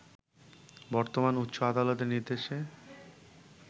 বর্তমানে উচ্চ আদালতের নির্দেশে